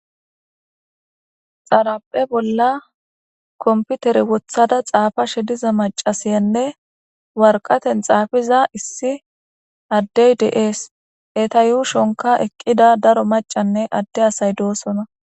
Xarphphe bolla kompitere woththada xaafashshe diza macashshiyanne waraqetenni xaafiza issi adeyi de'ees.eta ushshonikka eqqida daro macanne adee asayi dosona.